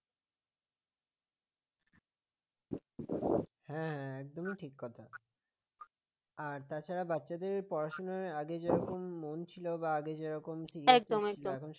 হ্যাঁ একদমই ঠিক কথা আর তাছাড়া বাচ্চাদের পড়াশোনায় আগে যেমন মন ছিল বা আগে যেরকম ইয়ে ছিল এখন সেটাও নেই